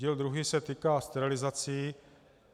Díl druhý se týká sterilizací.